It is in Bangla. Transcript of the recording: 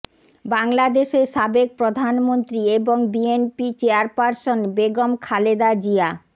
বাংলাদেশের সাবেক প্রধানমন্ত্রী এবং বিএনপি চেয়ারপারসন বেগম খালেদা জিয়া